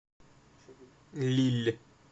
лилль